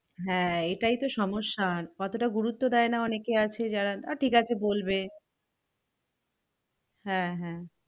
হ্যাঁ এটাই তো সমস্যা অতটা গুরুত্ব দেয় না অনেকে আছে যারা আঁ ঠিক আছে বলবে হ্যাঁ হ্যাঁ